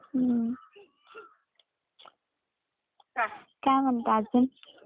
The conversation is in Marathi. हम्म काय म्हणता अजून?